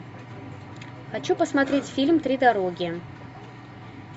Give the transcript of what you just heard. хочу посмотреть фильм три дороги